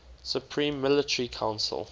supreme military council